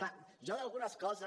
clar jo d’algunes coses